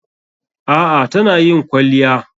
A'a tana yin kwalliya.